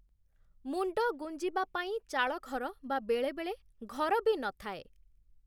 ମୁଣ୍ଡ ଗୁଞ୍ଜିବା ପାଇଁ ଚାଳଘର ବା ବେଳେବେଳେ ଘର ବି ନଥାଏ ।